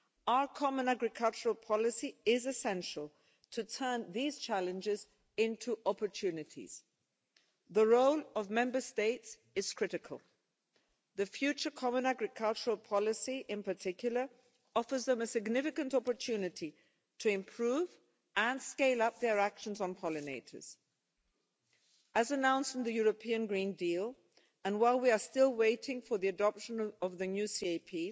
Our common agricultural policy is essential to turn these challenges into opportunities. The role of Member States is critical. The future common agricultural policy, in particular, offers them a significant opportunity to improve and scale up their actions on pollinators. As announced in the European Green Deal, and while we are still waiting for the adoption of the new